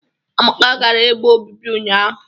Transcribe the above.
Amaka gara ebe obibi ụnyahụ